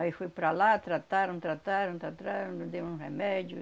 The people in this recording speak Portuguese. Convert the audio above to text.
Aí foi para lá, trataram, trataram, tratraram, não dei um remédio.